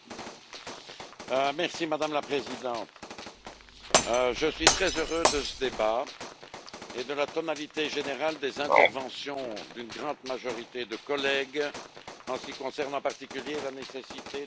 Madame la Présidente, je suis très heureux de ce débat et de la tonalité générale des interventions d'une grande majorité de collègues, en ce qui concerne en particulier la nécessité de nouvelles ressources propres.